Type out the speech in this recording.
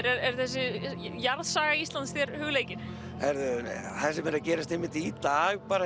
er þessi jarðsaga Íslands þér hugleikin það sem er að gerast einmitt í dag bara